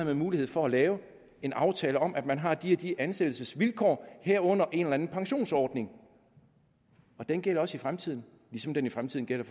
man mulighed for at lave en aftale om at man har de og de ansættelsesvilkår herunder en eller anden pensionsordning og den gælder også i fremtiden ligesom den i fremtiden gælder